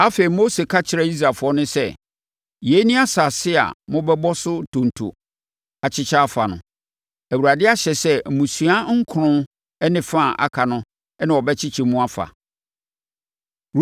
Afei Mose ka kyerɛɛ Israelfoɔ no sɛ, “Yei ne asase a mobɛbɔ so ntonto akyekyɛ afa no. Awurade ahyɛ sɛ mmusua nkron ne fa a aka no na wɔbɛkyekyɛ mu afa.